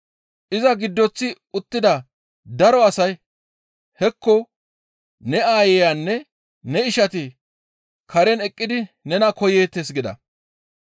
Iza giddoththi uttida daro asay, «Hekko ne aayeyanne ne ishati karen eqqidi nena koyeettes» gida.